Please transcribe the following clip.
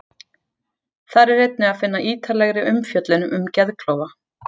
Þar er einnig að finna ítarlegri umfjöllun um geðklofa.